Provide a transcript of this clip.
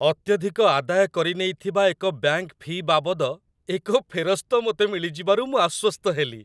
ଅତ୍ୟଧିକ ଆଦାୟ କରିନେଇଥିବା ଏକ ବ୍ୟାଙ୍କ ଫି ବାବଦ ଏକ ଫେରସ୍ତ ମୋତେ ମିଳିଯିବାରୁ ମୁଁ ଆଶ୍ୱସ୍ତ ହେଲି।